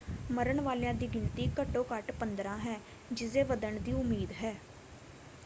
ਮਰਨ ਵਾਲਿਆਂ ਦੀ ਗਿਣਤੀ ਘੱਟੋ ਘੱਟ 15 ਹੈ ਜਿਸਦੇ ਵੱਧਣ ਦੀ ਉਮੀਦ ਹੈ।